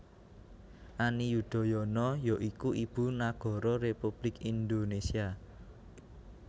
Ani Yudhoyono ya iku Ibu Nagara Republik Indonésia